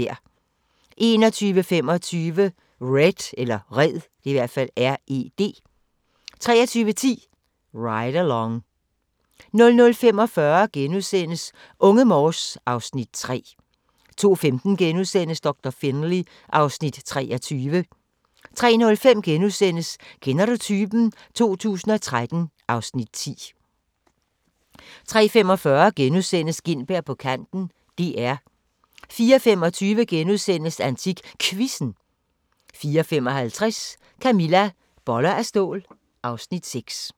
21:25: Red 23:10: Ride Along 00:45: Unge Morse (Afs. 3)* 02:15: Doktor Finlay (Afs. 23)* 03:05: Kender du typen? 2013 (Afs. 10)* 03:45: Gintberg på kanten - DR * 04:25: AntikQuizzen * 04:55: Camilla - Boller af stål (Afs. 6)